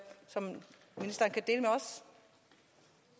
faktisk